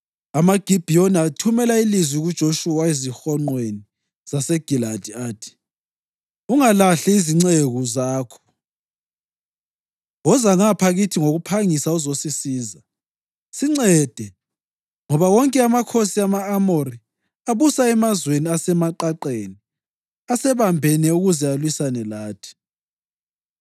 AmaGibhiyoni athumela ilizwi kuJoshuwa ezihonqweni zaseGiligali athi: “Ungalahli izinceku zakho. Woza ngapha kithi ngokuphangisa uzosisiza! Sincede, ngoba wonke amakhosi ama-Amori abusa emazweni asemaqaqeni asebambene ukuze alwisane lathi.”